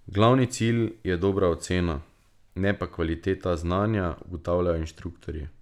Glavni cilj je dobra ocena, ne pa kvaliteta znanja, ugotavljajo inštruktorji.